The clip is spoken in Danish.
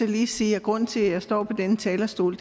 lige sige at grunden til at jeg står på denne talerstol